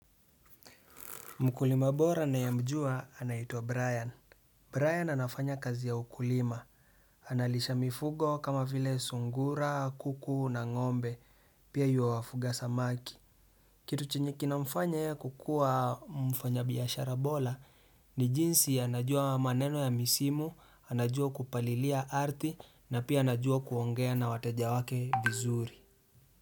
Mkulima bora ninayemjua anaitwa Brian. Brian anafanya kazi ya ukulima. Analisha mifugo kama vile sungura, kuku na ng'ombe. Pia huwa anafuga samaki. Kitu chenye kinamfanya yeye kukua mfanyabiashara bora ni jinsi anajua maneno ya misimu, anajua kupalilia arthi na pia anajua kuongea na wateja wake vizuri.